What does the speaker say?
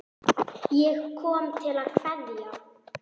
Ég kom til að kveðja.